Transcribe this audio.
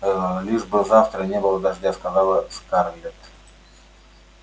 аа лишь бы завтра не было дождя сказала скарлетт